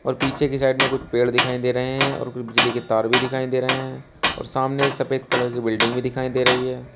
और पीछे की साइड में कुछ पेड़ दिखाई दे रहे हैं और कुछ बिजली के तार भी दिखाई दे रहे हैं और सामने एक सफेद कलर की बिल्डिंग भी दिखाई दे रही है।